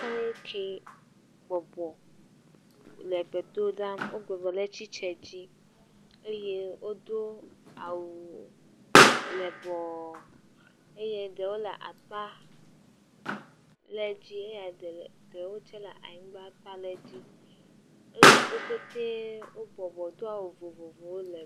Tɔwoe ke bɔbɔ le gbe dom ɖa. Wo bɔbɔ le tsitsiɛ dzi. Eye wodo awu lɛbɔɔ eye ɖewo le akpa lɛ dzi eye ɖewo tsɛ le anyigba kpa lɛ dzi. Eye woƒetee wo bɔbɔ do awu vovowo le.